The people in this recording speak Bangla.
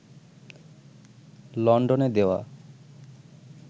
লন্ডনে দেওয়া